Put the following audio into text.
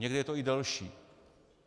Někde je to i delší.